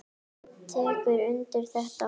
Sveinn tekur undir þetta.